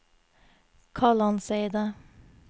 Kalandseidet